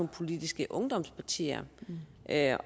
politiske ungdomspartier og her